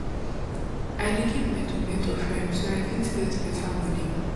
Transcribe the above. i dey keep my tomato firm so i fit get better money